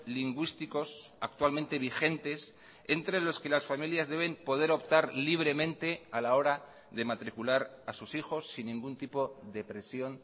lingüísticos actualmente vigentes entre los que las familias deben poder optar libremente a la hora de matricular a sus hijos sin ningún tipo de presión